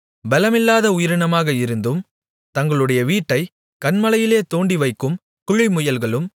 பெலமில்லாத உயிரினமாக இருந்தும் தங்களுடைய வீட்டைக் கன்மலையிலே தோண்டிவைக்கும் குழிமுயல்களும்